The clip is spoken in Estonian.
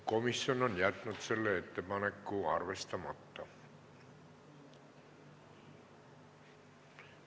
Komisjon on jätnud selle ettepaneku arvestamata.